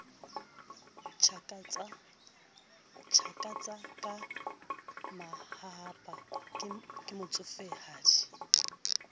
tjhakatsa ka mahahapa ke motsofehadi